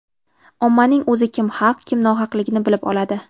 Ommaning o‘zi kim haq, kim nohaqligini bilib oladi.